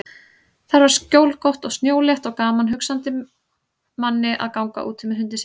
Þar var skjólgott og snjólétt og gaman hugsandi manni að ganga úti með hundinn sinn.